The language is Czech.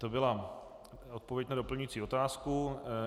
To byla odpověď na doplňující otázku.